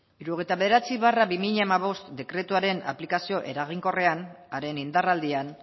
hirurogeita bederatzi barra bi mila hamabost dekretuaren aplikazio eraginkorrean haren indarraldian